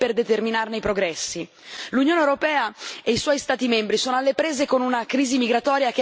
L'Unione europea e i suoi Stati membri sono alle prese con una crisi migratoria che ancora non riescono a gestire.